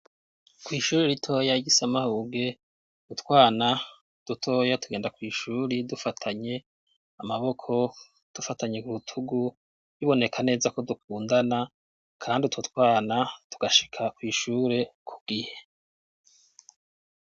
Kw'ishuri ritoya ry'i Samahuge utwana dutoya tugenda kw'ishuri dufatanye amaboko dufatanye kurutugu biboneka neza ko dukundana kandi utwo twana tugashika kw'ishure ku gihe.